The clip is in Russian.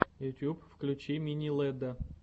ютуб включи мини лэдда